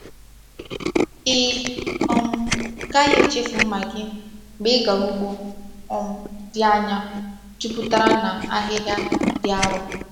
Ị um gaghị echefu mma gị mgbe ị gara ugbo um dị anya jupụtara na ahịhịa dị arọ.